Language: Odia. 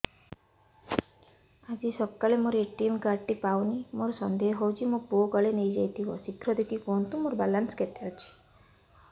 ଆଜି ସକାଳେ ମୋର ଏ.ଟି.ଏମ୍ କାର୍ଡ ଟି ପାଉନି ମୋର ସନ୍ଦେହ ହଉଚି ମୋ ପୁଅ କାଳେ ନେଇଯାଇଥିବ ଶୀଘ୍ର ଦେଖି କୁହନ୍ତୁ ମୋର ବାଲାନ୍ସ କେତେ ଅଛି